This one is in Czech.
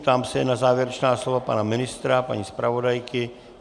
Ptám se na závěrečná slova pana ministra, paní zpravodajky.